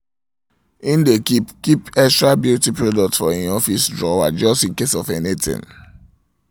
im dae keep keep extra beauty products for im office drawer just incase of anything